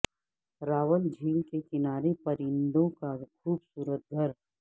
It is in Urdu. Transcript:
راول جھیل کے کنارے پرندوں کا خوب صورت گھر